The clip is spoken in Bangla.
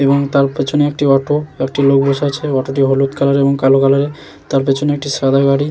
এবং তার পেছনে একটি অটো একটি লোক বসে আছে অটোটি হলুদ কালার এবং কালো কালার -এর তার পেছনে একটি সাদা গাড়ি--